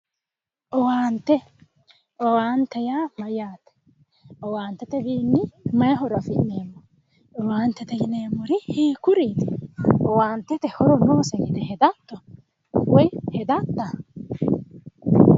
owaante, owaante yaa mayyaate? owaantetewiinni may horo afi'neemmo? owaantete yineemmori hiikkuriti? owaantete horo noosi yite hedatto woy hedatta?